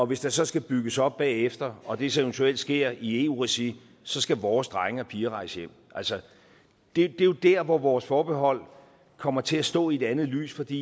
hvis der så skal bygges op bagefter og det så eventuelt sker i eu regi så skal vores drenge og piger rejse hjem altså det er jo der hvor vores forbehold kommer til at stå i et andet lys fordi